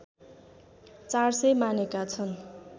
४०० मानेका छन्